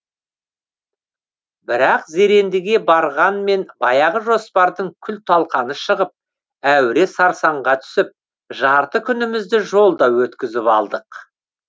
бірақ зерендіге барғанмен баяғы жоспардың күл талқаны шығып әуре сарсаңға түсіп жарты күнімізді жолда өткізіп алдық